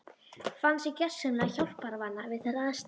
Fann sig gersamlega hjálparvana við þær aðstæður.